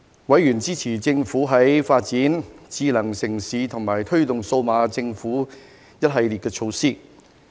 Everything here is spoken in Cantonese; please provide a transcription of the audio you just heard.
委員支持政府發展智慧城市和推動數碼政府的一系列措施。